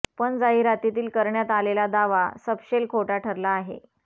पण जाहिरातीत करण्यात आलेला दावा सपशेल खोटा ठरला आहे